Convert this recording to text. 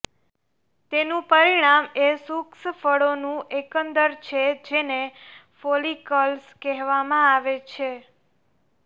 તેનું પરિણામ એ શુષ્ક ફળોનું એકંદર છે જેને ફોલિકલ્સ કહેવામાં આવે છે